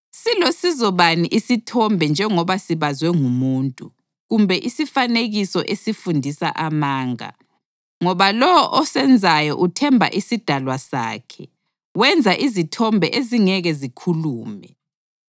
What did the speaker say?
Silosizo bani isithombe njengoba sibazwe ngumuntu? Kumbe isifanekiso esifundisa amanga? Ngoba lowo osenzayo uthemba isidalwa sakhe; wenza izithombe ezingeke zikhulume.